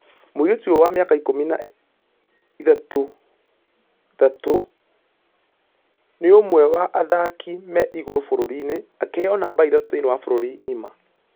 Mũirĩtu ũyũ wa mĩaka ikũmi na ithathatũ nĩ ilũmwe wa athaki me igũrũ bũrũri-inĩ, akĩheo namba ithatũ thĩinĩ wa bũrũri ngima.